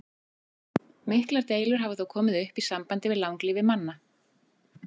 Miklar deilur hafa þó komið upp í sambandi við langlífi manna.